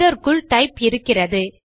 இதற்குள் டைப் இருக்கிறது